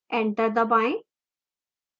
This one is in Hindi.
enter दबाएं